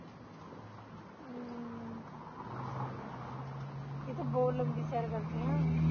ਇਹ ਤੇ ਬਹੁਤ ਲੰਬੀ ਸੈਰ ਕਰਦੀ ਹਾਂ